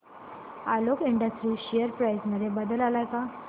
Alok industries share price मध्ये बदल आलाय का